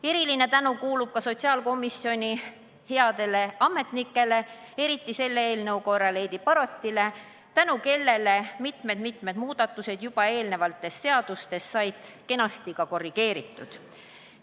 Eriline tänu ka sotsiaalkomisjoni headele ametnikele, selle eelnõu korral eriti Heidi Barotile, tänu kellele said mitmed-mitmed muudatused juba eelnevates seadustes kenasti korrigeeritud.